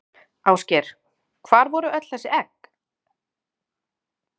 Ásgeir: Hvar voru öll þessi egg?